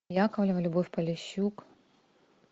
яковлева любовь полищук